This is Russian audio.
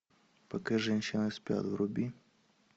пока женщины спят вруби